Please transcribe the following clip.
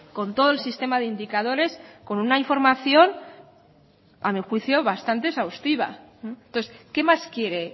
con todo el sistema de indicadores con una información a mi juicio bastante exhaustiva entonces qué más quiere